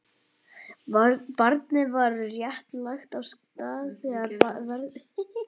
Barnið var rétt lagt af stað þegar veðrið skall á.